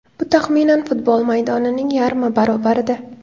Bu taxminan futbol maydonining yarmi barobarida.